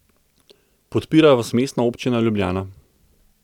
Podpira vas Mestna občina Ljubljana.